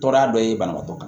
Tɔɔrɔya dɔ ye banabagatɔ